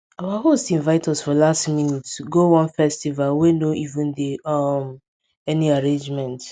our host invite us for last minute go one festival wey no even dey um any arrangement